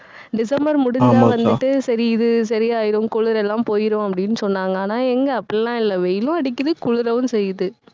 December முடிஞ்சா வந்துட்டு சரி இது சரியாயிடும், குளிரெல்லாம் போயிரும் அப்படீன்னு சொன்னாங்க. ஆனா, எங்க அப்படிலாம் இல்ல வெயிலும் அடிக்குது குளிரவும் செய்யுது